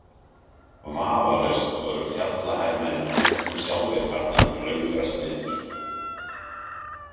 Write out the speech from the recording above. Vafalaust voru fjallahermennirnir nú sjálfir farnir að klöngrast niður.